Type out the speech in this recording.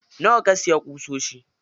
Nawa ka siya ƙusoshin?